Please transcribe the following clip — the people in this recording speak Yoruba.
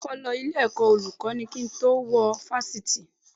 Mo ti kọ́kọ́ lọ ilé-ẹ̀kọ́ Olùkọ́ní kí n tó wọ Fáṣítì